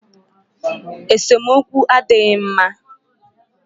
Esemokwu adịghị mma.